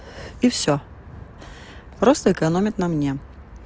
и всё просто экономят на мне